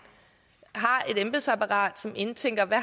har et embedsapparat som indtænker hvad